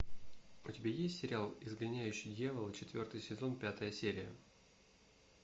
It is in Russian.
у тебя есть сериал изгоняющий дьявола четвертый сезон пятая серия